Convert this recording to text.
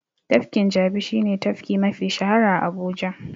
Tafkin Jabi shi ne tafki mafi shahara a Abuja.